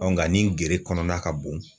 nka ni gere kɔnɔna ka bon.